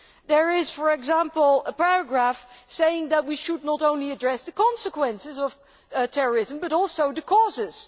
There is, for example, a paragraph saying that we should not only address the consequences of terrorism but also the causes